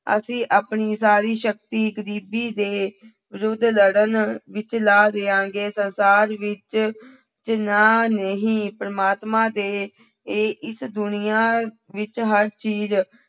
ਅਸੀਂ ਆਪਣੀ ਸਾਰੀ ਸ਼ਕਤੀ ਗ਼ਰੀਬੀ ਦੇ ਵਿਰੁੱਧ ਲੜਨ ਵਿੱਚ ਲਾ ਦੇਵਾਂਗੇ, ਸੰਸਾਰ ਵਿੱਚ ਜਿਹਨਾਂ ਨੇ ਹੀ ਪ੍ਰਮਾਤਮਾ ਦੇ ਇਹ ਇਸ ਦੁਨੀਆਂ ਵਿੱਚ ਹਰ ਚੀਜ਼